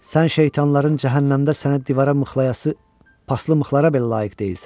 Sən şeytanların cəhənnəmdə sənə divara mıxlayası paslı mıxlara belə layiq deyilsən.